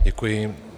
Děkuji.